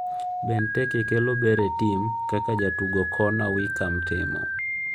Benteke kelo ber e tim, kaka jatugo Connor Wickham timo.